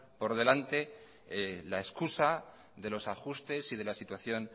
por delante la excusa de los ajustes y de la situación